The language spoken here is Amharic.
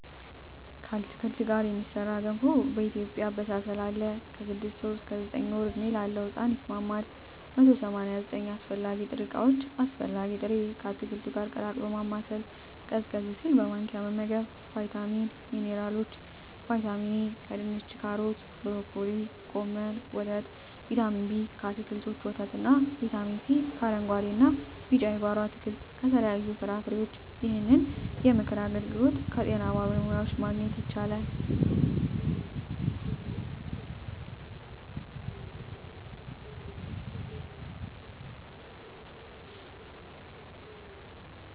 ከአትክልት ጋር የሚሠራ ገንፎ በኢትዮጵያ አበሳሰል አለ። ከ6 ወር እስከ 9 ወር ዕድሜ ላለው ሕጻን ይስማማል። 189 አስፈላጊ ጥሬ ዕቃዎች አስፈላጊ ጥሬ...፣ ከአትክልቱ ጋር ቀላቅሎ ማማሰል፣ ቀዝቀዝ ሲል በማንኪያ መመገብ። , ቫይታሚኖች እና ሚንራሎች(ዋና ዋናዎቹ) ✔️ ቫይታሚን ኤ: ከድንች ካሮት ብሮኮሊ ጎመን ወተት ✔️ ቫይታሚን ቢ: ከአትክልቶች ወተት እና ✔️ ቫይታሚን ሲ: ከአረንጉአዴ እና ቢጫ የጓሮ አትክልት ከተለያዩ ፍራፍሬዎች ይህንን የምክር አገልግሎት ከጤና ባለሙያዎች ማግኘት ይቻላል።